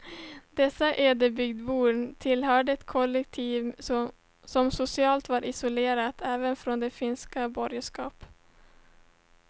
Dessa ödebygdsbor tillhörde ett kollektiv som socialt var isolerat även från finskt borgerskap.